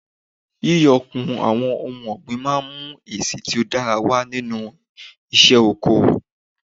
Yíyọ kùn àwọn ohun ọ̀gbìn máa mú èsì tó dára wà nínú isé oko